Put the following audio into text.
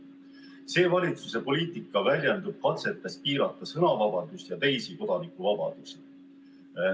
See valitsuse poliitika väljendub katsetes piirata sõnavabadust ja teisi kodanikuvabadusi.